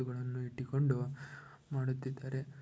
ಇವು ಗಳನ್ನು ಇಟ್ಟು ಕೊಂಡು ಮಾಡುತ್ತಿದ್ದಾರೆ